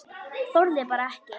Þorði bara ekki.